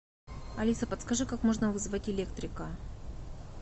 алиса подскажи как можно вызвать электрика